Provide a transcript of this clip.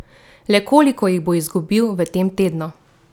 Le koliko jih bo izgubil v tem tednu?